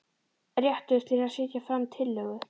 Réttur til að setja fram tillögu.